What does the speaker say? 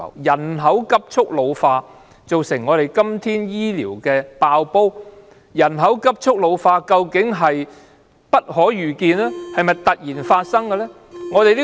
人口急速老化造成醫療"爆煲"，人口急速老化，究竟是否不可遇見、突然發生呢？